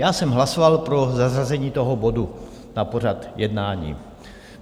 Já jsem hlasoval pro zařazení toho bodu na pořad jednání.